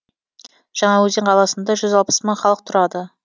жаңаөзен қаласында жүз алпыс мың халық тұрады